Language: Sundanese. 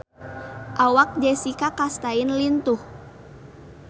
Awak Jessica Chastain lintuh